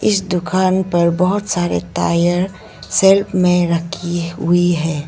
इस दुकान पर बहोत सारे टायर सेल्फ में रखी हुई है।